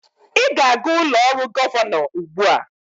Ị ga-aga ụlọ ọrụ gọvanọ ugbu a!